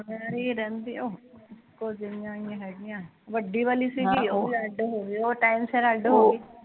ਵੱਡੀ ਵਾਲੀ ਸੀਗੀ ਉਹ ਵੀ ਅੱਡ ਹੋਗੀ ਉਹ ਟੈਮ ਸੀਰ ਅੱਡ ਹੋਗੀ